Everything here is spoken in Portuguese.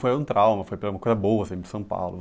Foi um trauma, foi uma coisa boa, você vir para São Paulo.